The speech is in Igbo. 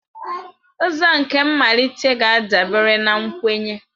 Ụzọ nke mmalite ga-adabere na nkwenye.